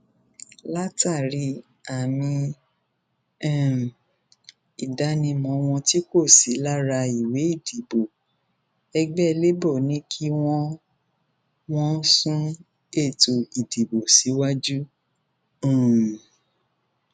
látàrí àmì um ìdánimọ wọn tí kò sí lára ìwé ìdìbò ẹgbẹ labour ni kí wọn wọn sún ètò ìdìbò síwájú um